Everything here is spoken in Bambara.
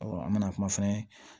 an bɛna kuma fɛnɛ